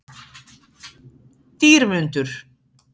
Dýrmundur